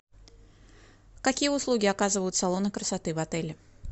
какие услуги оказывают салоны красоты в отеле